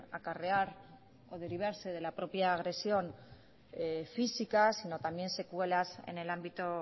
acarrear o derivarse de la propia agresión física sino también secuelas en el ámbito